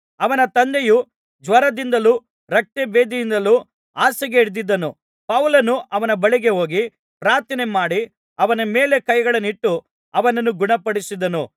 ಅವನ ತಂದೆಯು ಜ್ವರದಿಂದಲೂ ರಕ್ತಭೇದಿಯಿಂದಲೂ ಹಾಸಿಗೆ ಹಿಡಿದಿದ್ದನು ಪೌಲನು ಅವನ ಬಳಿಗೆ ಹೋಗಿ ಪ್ರಾರ್ಥನೆ ಮಾಡಿ ಅವನ ಮೇಲೆ ಕೈಗಳನ್ನಿಟ್ಟು ಅವನನ್ನು ಗುಣಪಡಿಸಿದನು